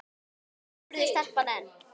spurði stelpan enn.